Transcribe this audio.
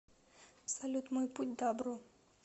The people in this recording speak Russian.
салют мой путь дабро